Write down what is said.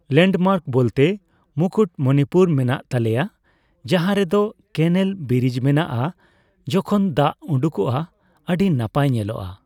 Landmark ᱵᱚᱞᱛᱮ ᱢᱩᱠᱩᱴᱢᱚᱱᱤᱯᱩᱨ ᱢᱮᱱᱟᱜ ᱛᱟᱞᱮᱭᱟ ᱡᱟᱦᱟᱸ ᱨᱮᱫᱚ ᱠᱮᱱᱮᱞ ᱵᱤᱨᱤᱡ ᱢᱮᱱᱟᱜᱼᱟ ᱡᱚᱠᱷᱚᱱ ᱫᱟᱜ ᱩᱰᱩᱠᱚᱜᱼᱟ ᱟᱹᱰᱤ ᱱᱟᱯᱟᱭ ᱧᱮᱞᱚᱜᱼᱟ ᱾